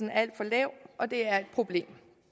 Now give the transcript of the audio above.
er alt for lav og det er et problem